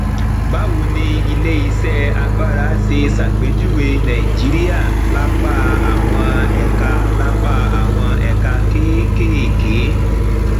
báwo ni iléiṣẹ agbára ṣe ṣàpèjúwe nàìjíríà lápá àwọn ẹka lápá àwọn ẹka kéékèèké